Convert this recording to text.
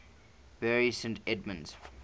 bury st edmunds